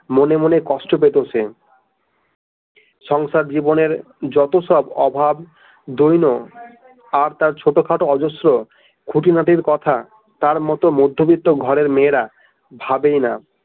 মনে মনে কষ্ট পেত সে, সংসার জীবনের যত সব অভাব দৈন আর তার ছোট খাটো অজশ্র খুঁটিনাটির কথা তার মোট মধ্যবিত্ত ঘরের মেয়েরা ভাবেই না।